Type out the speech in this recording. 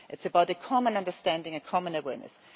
It is about a common understanding and a common awareness.